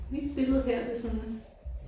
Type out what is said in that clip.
Mit billede her det er sådan